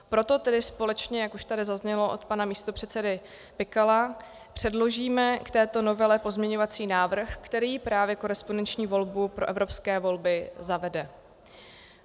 Proto tedy společně, jak už tady zaznělo od pana místopředsedy Pikala, předložíme k této novele pozměňovací návrh, který právě korespondenční volbu pro evropské volby zavede.